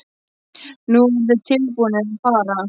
Nú voru þeir tilbúnir að fara.